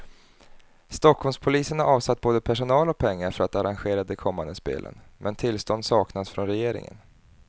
Stockholmspolisen har avsatt både personal och pengar för att arrangera de kommande spelen, men tillstånd saknas från regeringen.